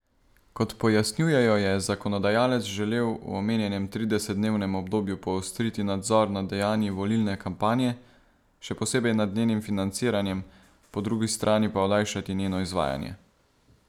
Kot pojasnjujejo, je zakonodajalec želel v omenjenem tridesetdnevnem obdobju poostriti nadzor nad dejanji volilne kampanje, še posebej nad njenim financiranjem, po drugi strani pa olajšati njeno izvajanje.